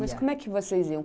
Mas como é que vocês iam?